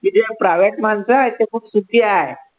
private माणसं आहे ते खूप सुखी आहे.